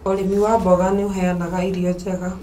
Ũrĩmi wa mboga nĩ ũheanaga irio njega.